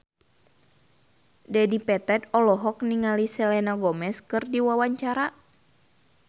Dedi Petet olohok ningali Selena Gomez keur diwawancara